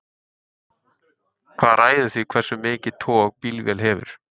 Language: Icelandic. hvað ræður því hversu mikið tog bílvél hefur